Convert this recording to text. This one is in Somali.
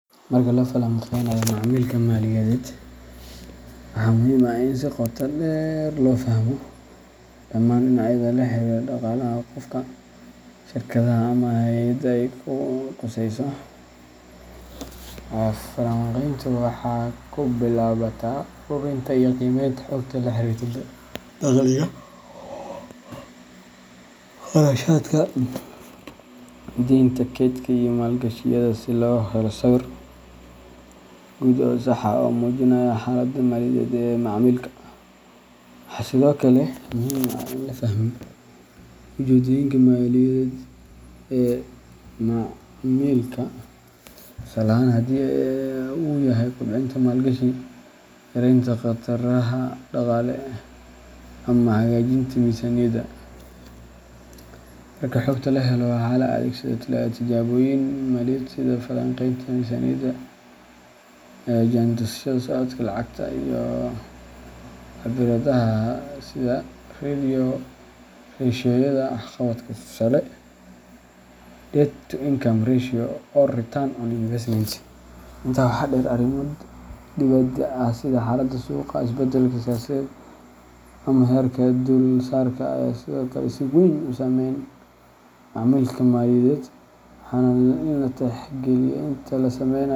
Marka la falaqeynayo macaamilka maaliyadeed, waxaa muhiim ah in si qoto dheer loo fahmo dhammaan dhinacyada la xiriira dhaqaalaha qofka, shirkadda, ama hay’adda ay khusayso. Falanqayntu waxay ku bilaabataa ururinta iyo qiimeynta xogta la xiriirta dakhliga, kharashaadka, deynta, kaydka, iyo maalgashiyada, si loo helo sawir guud oo sax ah oo muujinaya xaaladda maaliyadeed ee macaamilka. Waxaa sidoo kale muhiim ah in la fahmo ujeeddooyinka maaliyadeed ee macaamilka tusaale ahaan, haddii uu yahay kobcinta maalgashi, yaraynta khataraha dhaqaale, ama hagaajinta miisaaniyadda. Marka xogta la helo, waxaa la adeegsadaa tijaabooyin maaliyadeed sida falanqaynta miisaaniyadda, jaantusyada socodka lacagta, iyo cabbiraadaha sida ratio-yada waxqabadka tusaale, debt-to-income ratio or return on investment. Intaa waxaa dheer, arrimo dibadda ah sida xaaladda suuqa, isbedelka siyaasadeed, ama heerarka dulsaarka ayaa sidoo kale si weyn u saameeya macaamilka maaliyadeed, waana in la tixgeliyaa inta la sameynayo.